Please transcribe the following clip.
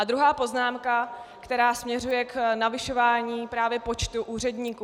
A druhá poznámka, která směřuje k navyšování právě počtu úředníků.